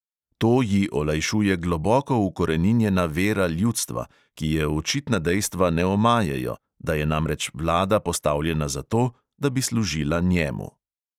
To ji olajšuje globoko ukoreninjena vera ljudstva, ki je očitna dejstva ne omajejo, da je namreč vlada postavljena zato, da bi služila njemu.